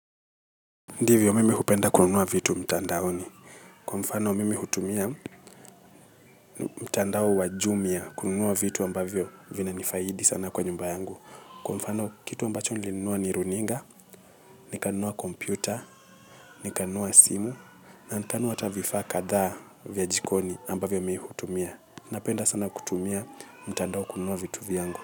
Ndivyo mimi hupenda kununua vitu mtandaoni. Kwa mfano mimi hutumia mtandao wajumia kununua vitu ambavyo vina nifaidi sana kwa nyumba yangu. Kwa mfano kitu ambacho nilinua ni runinga, nikanunua kompyuta, nikanunua simu, na nikanunua hata vifaa kadhaa vya jikoni ambavyo mimi hutumia. Napenda sana kutumia mtandao kununua vitu vyangu.